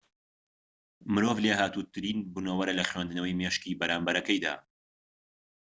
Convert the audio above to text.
مرۆڤ لێهاتووترین بونەوەرە لە خوێندنەوەی مێشکی بەرامبەرەکەیدا